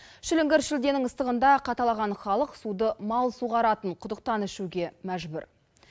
шіліңгір шілденің ыстығында қаталаған халық суды мал суаратын құдықтан ішуге мәжбүр